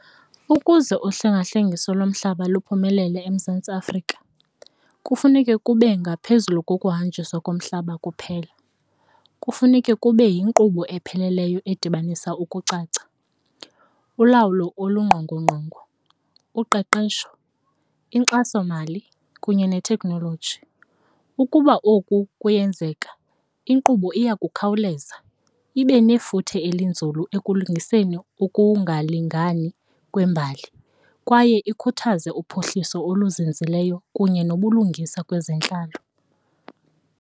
Ukuze uhlengahlengiso lomhlaba luphumelele eMzantsi Afrika kufuneke kube ngaphezulu kokuhanjiswa komhlaba kuphela, kufuneke kube yinkqubo epheleleyo edibanisa ukucaca, ulawulo olungqongqongo, uqeqesho, inkxasomali kunye ne thekhnoloji. Ukuba oku kuyenzeka, inkqubo iya kukhawuleza ibe nefuthe eli nzulu ekulungiseni ukungalingani kwembali kwaye ikhuthaze uphuhliso oluzinzileyo kunye nobulungisa kwezentlalo.